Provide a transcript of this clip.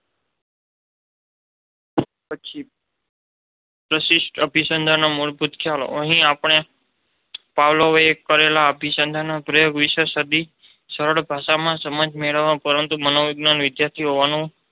પછી પ્રશિષ્ટ અભિસંધાનના મૂળભૂત ખ્યાલો અહીં આપણે પાવલોવે કરેલા અભિસંધાનના પ્રયોગ વિષેની સાદી, સરળ ભાષામાં સમજ મેળવા પરંતુ મનોવૈજ્ઞાનિક વિદ્યાર્થી હોવાનું